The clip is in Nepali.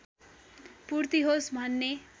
पूर्ति होस् भन्ने